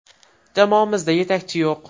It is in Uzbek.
Jamoamizda yetakchi yo‘q.